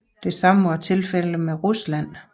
Det samme var tilfældet med Rusland